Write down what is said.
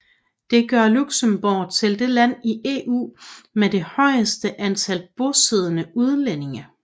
Det gør Luxembourg til det land i EU med det højeste antal bosiddende udlændinge